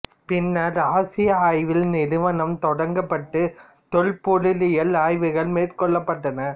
பின்னர் ஆசிய ஆய்வியல் நிறுவனம் தொடங்கப்பட்டு தொல்பொருளியல் ஆய்வுகள் மேற்கொள்ளப்பட்டன